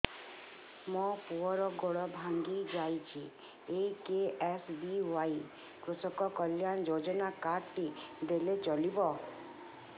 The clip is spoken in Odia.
ମୋ ପୁଅର ଗୋଡ଼ ଭାଙ୍ଗି ଯାଇଛି ଏ କେ.ଏସ୍.ବି.ୱାଇ କୃଷକ କଲ୍ୟାଣ ଯୋଜନା କାର୍ଡ ଟି ଦେଲେ ଚଳିବ